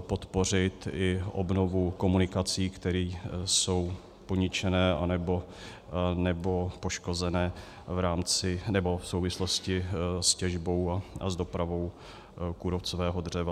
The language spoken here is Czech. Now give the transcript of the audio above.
podpořit i obnovu komunikací, které jsou poničené anebo poškozené v souvislosti s těžbou a s dopravou kůrovcového dřeva.